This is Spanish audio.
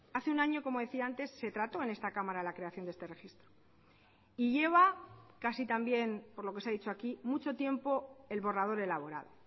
hace un año como decía antes se trató en esta cámara la creación de este registro y lleva casi también por lo que se ha dicho aquí mucho tiempo el borrador elaborado